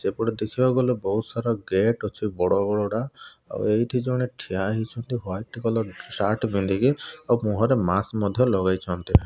ଏପଟେ ଦେଖିବାକୁ ଗଲେ ବହୁତ୍ ସାରା ଗେଟ୍ ଅଛି ବଡ଼ବଡଟା ଆଉ ଏଇଠି ଜଣେ ଛିଡ଼ା ହେଇଛନ୍ତି ୱାଇଟ୍ବ କଲର୍ ସାର୍ଟ ପିନ୍ଧିକି ଆଉ ମୁହଁ ରେ ମାସ୍କ ମଧ୍ୟ ଲଗେଇଛନ୍ତି।